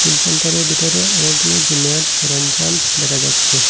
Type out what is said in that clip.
সেন্টারের ভিটরে অনেকগুলো জিমের সরঞ্জাম দেখা যাচ্ছে।